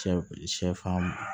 Sɛ b sɛfan